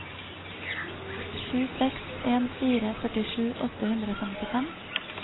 sju seks en fire førtisju åtte hundre og femtifem